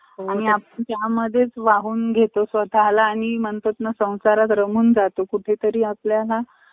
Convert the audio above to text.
आणि आपल्या या मध्येच वाहून घेतो स्वतः ला आणि म्हणतात संसारात रमून जातो कुठे तरी आपल्याला